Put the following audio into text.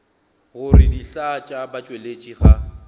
gore dihlaa tša batšweletši ga